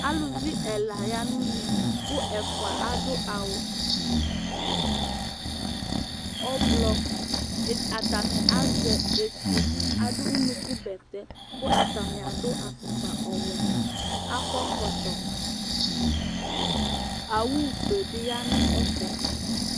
aluvi ɛla ya no une kò ɛfua adu awu ublɔ atani azɛ etu adu unuku bɛtɛ kò atani adu afukpa ɔwɛ akɔ ɛkɔtɔ owu fue bi ya no ɛfɛ